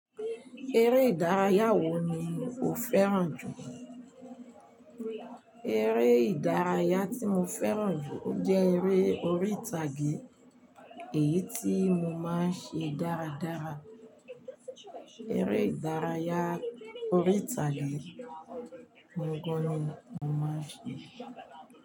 Eré ìdárayá wo ni o fẹ́ràn jù? Eré ìdárayá tí mo fẹ́ràn jù ó jẹ́ eré orí ìtàgé, èyí tí mo máa ń ṣe dáradára. Eré ìdárayá orí ìtàgé ohun gan ni mo máa ń ṣe.